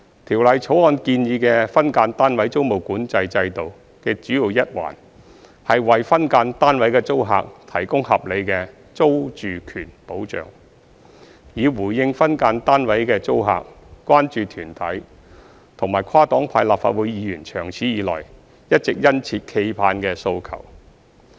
《條例草案》建議的分間單位租務管制制度的主要一環，是為分間單位的租客提供合理的租住權保障，以回應分間單位的租客、關注團體及跨黨派立法會議員長此以來一直殷切期盼的訴求。